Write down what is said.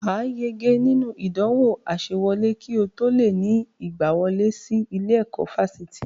Wà á yege nínú ìdánwò àsewọlé kí o tó lè ní ìgbawọlé sí ilé-ẹ̀kọ́ fásitì